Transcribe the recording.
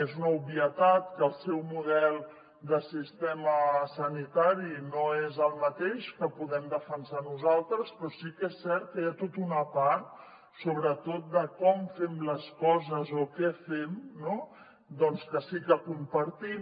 és una obvietat que el seu model de sistema sanitari no és el mateix que podem defensar nosaltres però sí que és cert que hi ha tota una part sobretot de com fem les coses o què fem no que sí que compartim